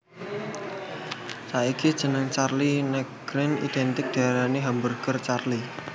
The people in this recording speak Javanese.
Saiki jeneng Charlie Nagreen identik diarani Hamburger Charlie